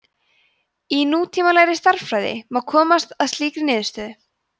í nútímalegri stærðfræði má komast að líkri niðurstöðu